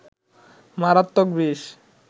মারাত্মক বিষ